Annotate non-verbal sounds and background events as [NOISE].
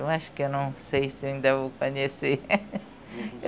Eu acho que eu não sei se eu ainda vou conhecer. [LAUGHS]